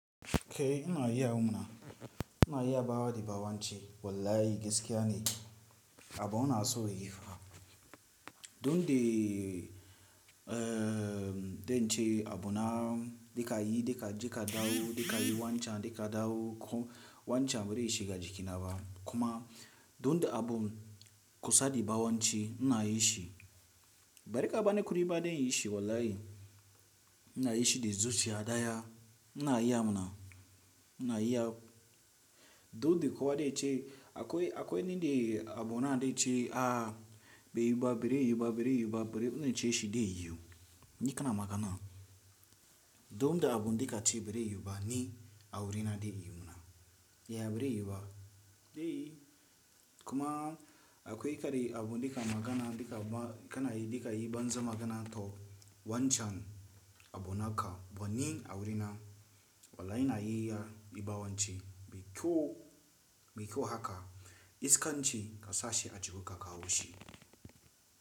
Kai ina yi a mana, ina yi a bawa da bawanci wallahi gaskiya ne, abu ina so yi fa. Don de, eh don ce abu na, dika yi dika jika dawo, dika yi wancan dika dawo ko wancan bari shi gajikinaba. Kuma don da abu kusa da bawanci ina yi shi. Bari ka bani kudiba dan inyi shi wallahi, ina yi shi da zuciya daya, ina yi a muna, ina yi a. Don de kowa da ya ce akwai, akwai nindi abu na da ya ce a, bai yiba, bari yiba, bari yiba, bari una ce shi dai yiwu. Ni kana magana. Don da abu dika ce bari yiba ni a wurina dai yiwu muna. Yaya bari yiwuba? Dai. Kuma akwai kare abu dika magana dika ba, kana yi dika yi banza magana to wancan abu naka ba ni a wurina. Wallahi ina yi ya da bawanci, mai kyau, mai kyau haka. Iskan ci kasashe a jihu ka kawo shi.